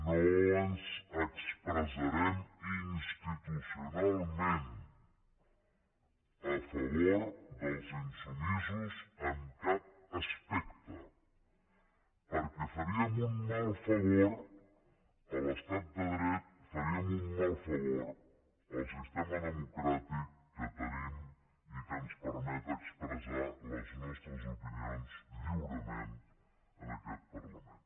no ens expressarem institucionalment a favor dels insubmisos en cap aspecte perquè faríem un mal favor a l’estat de dret faríem un mal favor al sistema democràtic que tenim i que ens permet expressar les nostres opinions lliurement en aquest parlament